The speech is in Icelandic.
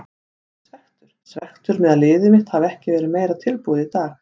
Ég er svekktur, svekktur með að liðið mitt hafi ekki verið meira tilbúið í dag.